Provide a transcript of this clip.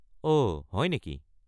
অহ, হয় নেকি?